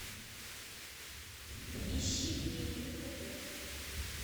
ищи вне игры хд